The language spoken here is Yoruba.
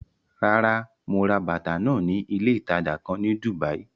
Rárá, mo ra bàtà náà ní ilé ìtajà kan ní Dùbàí.